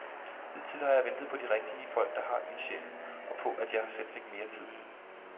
Hidtil har jeg ventet på de rigtige folk, der har ildsjælen og på, at jeg selv fik mere tid.